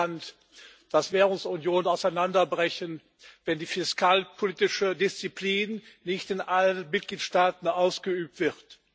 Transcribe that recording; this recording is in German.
Es ist bekannt, dass Währungsunionen auseinanderbrechen, wenn die fiskalpolitische Disziplin nicht in allen Mitgliedstaaten ausgeübt wird.